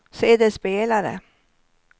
CD-spelare